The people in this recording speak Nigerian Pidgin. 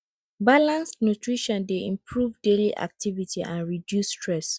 balanced nutrition dey improve daily activity and reduce stress